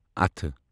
اتھٕ